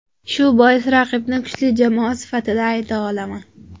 Shu bois raqibni kuchli jamoa sifatida ayta olaman.